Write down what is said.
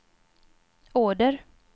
order